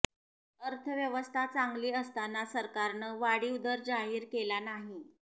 अर्थव्यवस्था चांगली असताना सरकारनं वाढीव दर जाहीर केला नाही